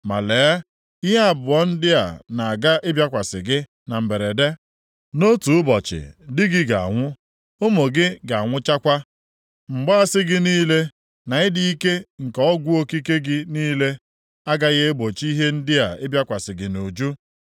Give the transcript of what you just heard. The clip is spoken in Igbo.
Ma lee anya! Ihe abụọ ndị a na-aga ịbịakwasị gị na mberede. Nʼotu ụbọchị di gị ga-anwụ, ụmụ gị ga-anwụchakwa. Mgbaasị gị niile, na ịdị ike nke ọgwụ okike gị niile, agaghị egbochi ihe ndị a ịbịakwasị gị nʼuju.